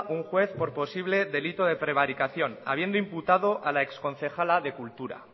un juez por posible delito de prevaricación habiendo imputado a la ex concejala de cultura